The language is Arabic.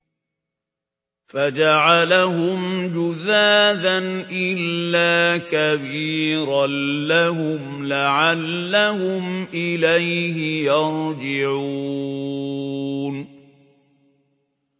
فَجَعَلَهُمْ جُذَاذًا إِلَّا كَبِيرًا لَّهُمْ لَعَلَّهُمْ إِلَيْهِ يَرْجِعُونَ